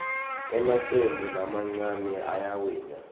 emacembu lamancane ayawina